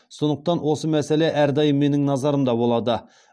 сондықтан осы мәселе әрдайым менің назарымда болады